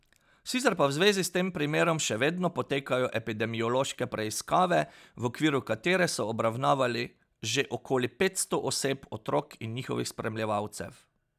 Sicer pa v zvezi s tem primerom še vedno potekajo epidemiološke preiskave v okviru katere so obravnavali že okoli petsto oseb, otrok in njihovih spremljevalcev.